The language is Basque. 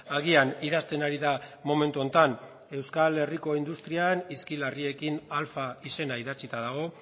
agian idazten ari da momentu honetan euskal herriko industrian hizki larriekin alfa izena idatzita dago